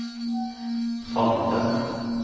Fannrem